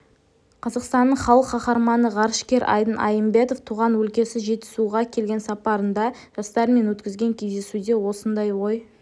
қазақстанның халық қаһарманы ғарышкер айдын айымбетов туған өлкесі жетісуға келген сапарында жастармен өткізген кездесуде осындай ой